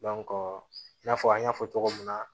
i n'a fɔ an y'a fɔ cogo min na